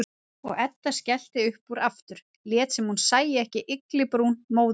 Og Edda skellti upp úr aftur, lét sem hún sæi ekki ygglibrún móður sinnar.